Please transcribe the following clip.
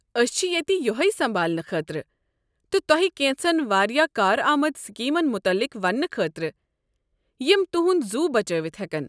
أسۍ چھ ییٚتہ یٔہَے سمبھالنہٕ خٲطرٕ تہٕ تۄہہ کیٚنٛژن واریاہ کارآمد سکیمن متعلق ونٛنہٕ خٲطرٕ یم تہُنٛد زُو بچٲوِتھ ہٮ۪کن۔